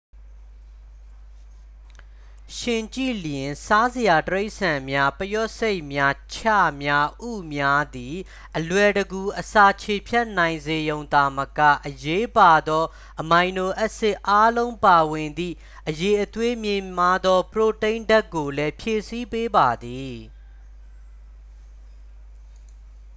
ယှဉ်ကြည့်လျှင်၊ စားစရာတိရစ္ဆာန်များ ပုရွက်ဆိတ်များ၊ ခြများ၊ ဥများ သည် အလွယ်တကူအစာခြေဖျက်နိုင်စေရုံသာမက အရေးပါသော အမိုင်နိုအက်ဆစ်အားလုံးပါဝင်သည့် အရည်အသွေးမြင့်မားသော ပရိုတိန်းဓာတ်ကိုလည်း ဖြည့်ဆည်းပေးပါသည်။